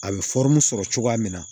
A bɛ sɔrɔ cogoya min na